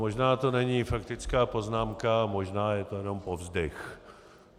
Možná to není faktická poznámka, možná je to jenom povzdech.